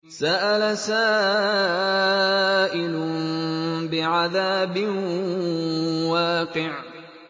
سَأَلَ سَائِلٌ بِعَذَابٍ وَاقِعٍ